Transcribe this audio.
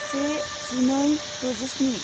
से जिनै दजिस्नि